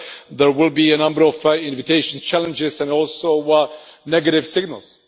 There will be a number of invitations, challenges and also negative signals.